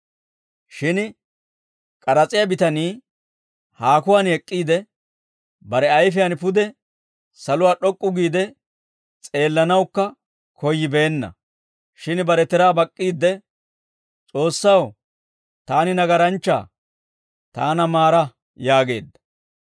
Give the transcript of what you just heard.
«Shin k'aras'iyaa bitanii haakuwaan ek'k'iide, bare ayfiyaan pude saluwaa d'ok'k'u giide s'eellanawukka koyyibeenna. Shin bare tiraa bak'k'iidde, ‹S'oossaw, taani nagaranchchaa; taana maara› yaageedda.